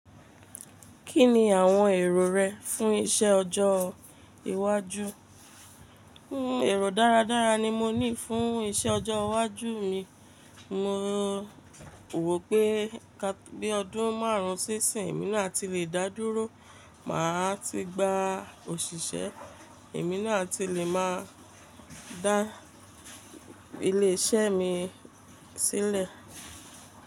Kí ni àwọn èrò rẹ fún iṣẹ́ ọjọ́ iwájú? Ẹ̀rọ dáradára ni mo ní fún iṣẹ́ ọjọ́ iwájú mi. Mo wò pé bí ọdún márùn-ún sí ìsìn, èmi náà ti le dá dúró, màá ti gba òṣìṣẹ́, èmi náà ti le máa dá ilé iṣẹ́ mi sílẹ̀.